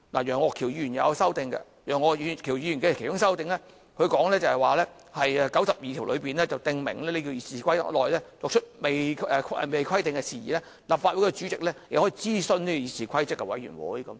楊岳橋議員也提出修訂建議，其中一項修訂第92條，訂明就《議事規則》未有規定的程序，立法會主席可諮詢議事規則委員會。